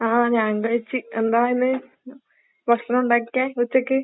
ആഹ് ഞാൻ കഴിച്ച്. എന്താ ഇന്ന് ഭക്ഷണം ഉണ്ടാക്കിയെ ഉച്ചക്ക്?